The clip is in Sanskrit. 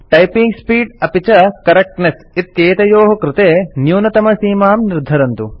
टाइपिंग स्पीड् अपि च करेक्टनेस इत्येतयोः कृते न्यूनतमसीमां निर्धरन्तु